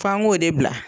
F'an k'o de bila